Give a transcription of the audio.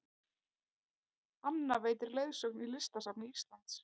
Anna veitir leiðsögn í Listasafni Íslands